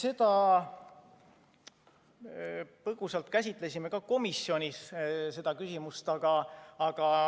Jaa, me põgusalt käsitlesime ka komisjonis seda küsimust.